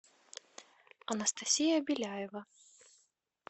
анастасия беляева